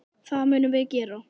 Það munum við gera.